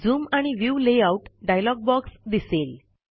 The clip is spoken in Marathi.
zoom and view layout dialog box दिसेल